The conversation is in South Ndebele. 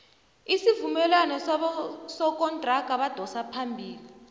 isuvumelwano sobosokontraga abadosa phambili